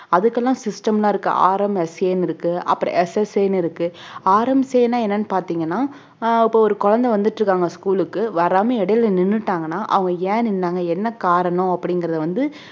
அதுகெல்லாம் system லாம் இருக்கு RMSA ன்னு இருக்கு அப்பறம் SSA ன்னு இருக்கு RMSA னா என்னன்னு பார்த்தீங்கன்னா அஹ் இப்ப ஒரு குழந்தை வந்துட்டிருக்காங்க school க்கு வராம இடையில நின்னுட்டாங்கனா அவங்க ஏன் நின்னாங்க என்ன காரணம் அப்படிங்கறத வந்து